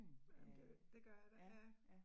Jamen det det gør der, ja